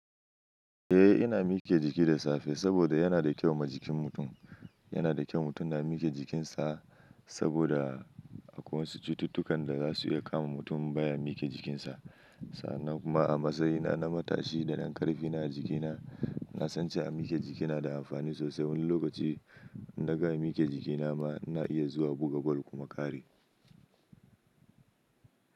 Eh ina mike jiki da safe saboda yana da kyau ma jikin mutum. Yana da kyau mutum na mike jikinsa saboda akwai wasu cututtukan da zasu iya kama mutum in baya mike jikinsa. Sannan kuma a matsayina na matashi da dan karfi ina jikina, na san cewa mike jiki na da amfani sosai. Wani lokaci in na gams mike jikina ma ina iya zuwa buga bal kuma ƙare.